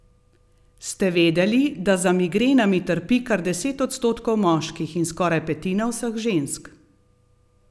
Ste vedeli, da za migrenami trpi kar deset odstotkov moških in skoraj petina vseh žensk?